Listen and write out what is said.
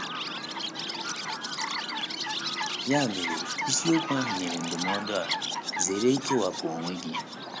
Ya mere, isiokwu ahụ nyere ndụmọdụ a: ‘ Zere ikewapụ onwe gị. ’